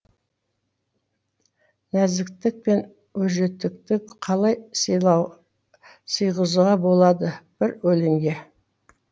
нәзіктік пен өжеттікті қалай сиғызуға болады бір өлеңге